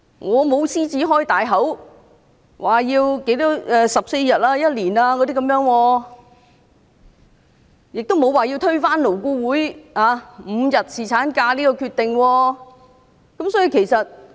我沒有"獅子開大口"要求有14天或1年的侍產假，也沒有說要推翻勞工顧問委員會就5天侍產假達成的共識。